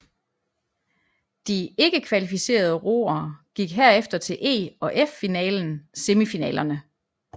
De ikke kvalificerede roer gik herefter til E og F finalen semifinalerne